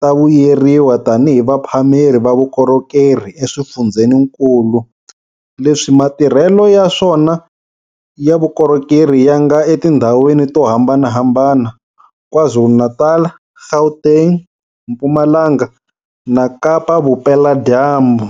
ta vuyeriwa tanihi vaphameri va vukorhokeri eswifundzeninkulu leswi matirhelo ya swona ya vukorhokeri ya nga etindhawini to hambanahambana, KwaZulu-Natal, Gauteng, Mpumalanga na Kapa-Vupeladyambu.